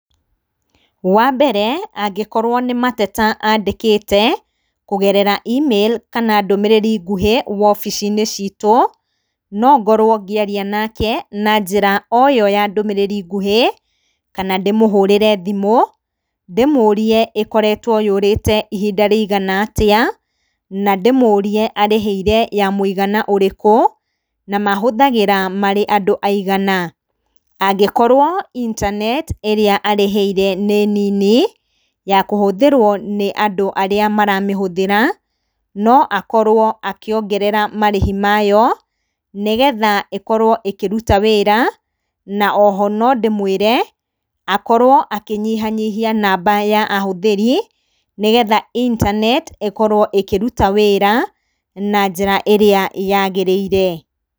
Wa mbere, angĩkorwo nĩ mateta andĩkĩte kũgerera e-mail kana ndũmĩrĩri nguhĩ wobici-inĩ ciitũ, no ngorwo ngĩaria nake na njĩra o yo ya ndũmĩrĩri nguhĩ, kana ndĩmũhũrĩre thimũ ndĩmũũrie ĩkoretwo yũrĩte ihinda rĩigana atĩa, na ndĩmũũrie arĩhĩire ya mũigana ũrĩkũ, na mahũthagĩra marĩ andũ aigana. Angĩkorwo intaneti ĩrĩa arĩhĩire nĩ nini ya kũhũthĩrwo nĩ andũ arĩa maramĩhũthĩra, no akorwo akĩongerera marĩhi mayo nĩgetha ĩkorwo ĩkĩruta wĩra. Na o ho no ndĩmwĩre, akorwo akĩnyihanyihia namba ya ahũthĩri nĩgetha intaneti ĩkorwo ĩkĩruta wĩra na njĩra ĩrĩa yaagĩrĩire.